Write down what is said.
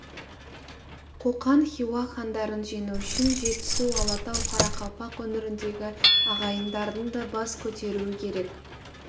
қоқан хиуа хандарын жеңу үшін жетісу алатау қарақалпақ өңіріндегі ағайындардың да бас көтеруі керек